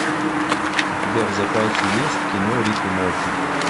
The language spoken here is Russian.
у тебя в запасе есть кино рик и морти